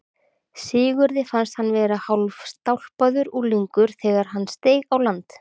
Sigurði fannst hann vera hálfstálpaður unglingur þegar hann steig á land.